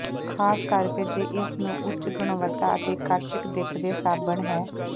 ਖ਼ਾਸ ਕਰਕੇ ਜੇ ਇਸ ਨੂੰ ਉੱਚ ਗੁਣਵੱਤਾ ਅਤੇ ਆਕਰਸ਼ਕ ਦਿੱਖ ਦੇ ਸਾਬਣ ਹੈ